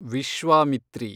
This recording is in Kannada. ವಿಶ್ವಾಮಿತ್ರಿ